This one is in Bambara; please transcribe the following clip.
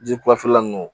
Ji kulafilan nunnu